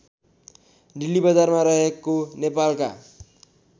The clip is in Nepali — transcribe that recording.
डिल्लीबजारमा रहेको नेपालका